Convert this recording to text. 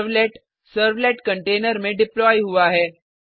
servlet servlet container में deploy हुआ है